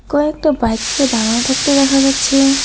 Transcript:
কয়েকটা বাইককে দাঁড়ানো থাকতে দেখা যাচ্ছে।